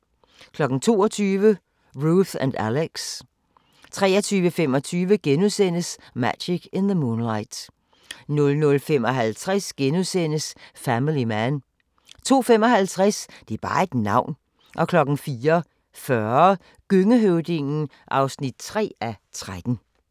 22:00: Ruth & Alex 23:25: Magic in the Moonlight * 00:55: Family Man * 02:55: Det er bare et navn 04:40: Gøngehøvdingen (3:13)